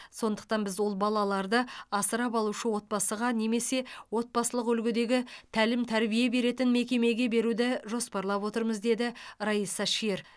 сондықтан біз ол балаларды асырап алушы отбасыға немесе отбасылық үлгідегі тәлім тәрбие беретін мекемеге беруді жоспарлап отырмыз деді раиса шер